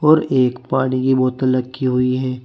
और एक पानी की बोतल रखी हुई है।